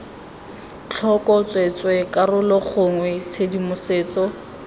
tlhoko tsweetswee karolo gongwe tshedimosetso